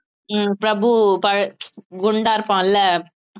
உம் பிரபு பழ~ குண்டா இருப்பான்ல